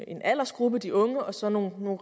en aldersgruppe de unge og så nogle